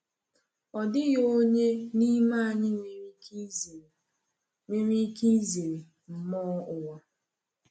Ọ dịghị onye n’ime anyị nwere ike izere nwere ike izere mmụọ ụwa.